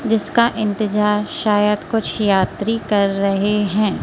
जिसका इंतजार शायद कुछ यात्री कर रहे हैं।